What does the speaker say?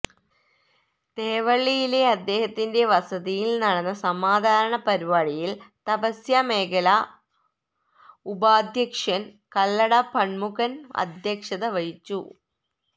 തേവള്ളിയിലെ അദ്ദേഹത്തിന്റെ വസതിയില് നടന്ന സമാദരണ പരിപാടിയില് തപസ്യ മേഖലാ ഉപാദ്ധ്യക്ഷന് കല്ലട ഷണ്മുഖന് അദ്ധ്യക്ഷത വഹിച്ചു